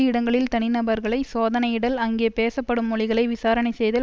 இடங்களில் தனிநபர்களை சோதனையிடல் அங்கே பேசப்படும் மொழிகளை விசாரணை செய்தல்